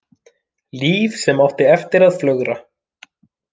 Líf sem átti eftir að flögra.